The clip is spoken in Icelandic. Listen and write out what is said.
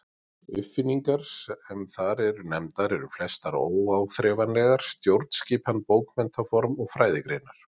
Uppfinningarnar sem þar eru nefndar eru flestar óáþreifanlegar: stjórnskipan, bókmenntaform og fræðigreinar.